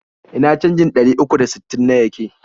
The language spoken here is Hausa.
Ina canjin ɗari uku da sittin na yake?